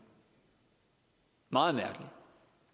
meget mærkelig vi